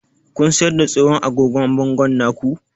Kun siyar da tsohon agogon bangon nan na ku?